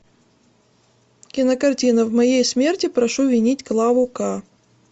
кинокартина в моей смерти прошу винить клаву к